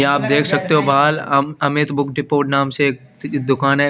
ये आप देख सकते हो बहाल आम अहमेद बुक डिपोट नाम से एक दुकान है।